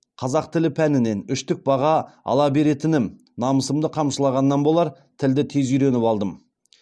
қазақ тілі пәнінен үштік баға ала беретінім намысымды қамшылағаннан болар тілді тез үйреніп алдым